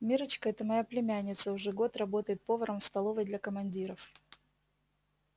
миррочка это моя племянница уже год работает поваром в столовой для командиров